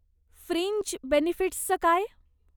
Fringe बेनिफिट्सचं काय?